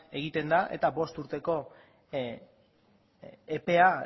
egiten den eta bost urteko epea